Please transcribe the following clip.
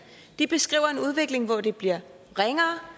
de beskriver en udvikling hvor det bliver ringere